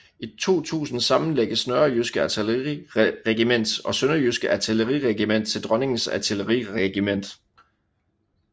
I 2000 sammenlægges Nørrejyske Artilleriregiment og Sønderjyske Artilleriregiment til Dronningens Artilleriregiment